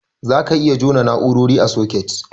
Zaka iya jona na'urori a soket.